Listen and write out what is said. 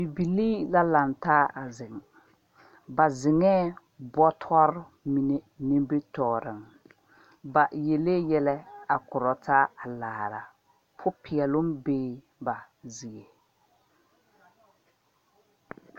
Bibilee la laŋ taa a zeŋ ,ba zeŋa bɔtɔɔre mine nimitɔɔre ba yeli yɛllɛ a korɔ taa a laara poɔ peɛloo bee ba zie.